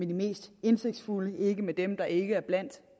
de mest indsigtsfulde ikke af dem der ikke er blandt